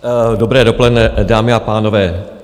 Dobré dopoledne, dámy a pánové.